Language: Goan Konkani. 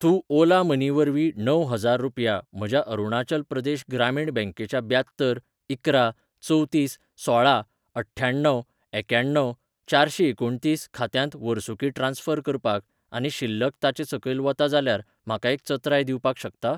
तूं ओला मनी वरवीं णव हजार रुपया म्हज्या अरुणाचल प्रदेश ग्रामीण बँकेच्या ब्यात्तर इकरा चवतीस सोळा अठ्ठ्याण्णव एक्याण्णव चारशेंएकुणतीस खात्यांत वर्सुकी ट्रान्स्फर करपाक आनी शिल्लक ताचे सकयल वता जाल्यार म्हाका एक चत्राय दिवपाक शकता?